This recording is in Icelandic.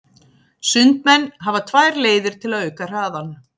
Sundmenn hafa tvær leiðir til að auka hraðann.